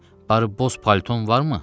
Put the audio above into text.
Barı boz palton varmı?